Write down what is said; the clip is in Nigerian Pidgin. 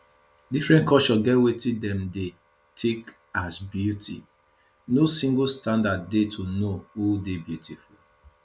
different culture get wetin dem dey take as beauty no single standard dey to know who dey beautiful